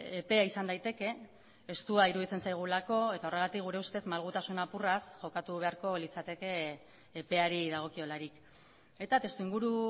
epea izan daiteke estua iruditzen zaigulako eta horregatik gure ustez malgutasun apurraz jokatu beharko litzateke epeari dagokiolarik eta testu inguru